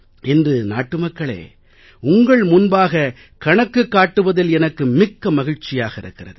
இன்று நாட்டுமக்களே உங்கள் முன்பாக கணக்கு காட்டுவதில் எனக்கு மிக்க மகிழ்ச்சியாக இருக்கிறது